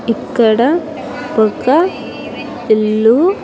ఇక్కడ ఒక ఇల్లు.